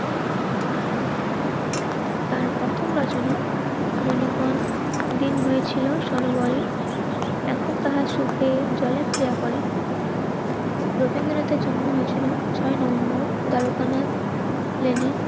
তার প্রথম রচনা মনিগ্রহণ দিন হয়েছিল সরোবরে এখন তাহার চোখে জলে প্রিয়া করে রবীন্দ্রনাথের জন্ম হয়েছিল ছয়ই নভেম্বর দ্বারকানাথ প্লেনের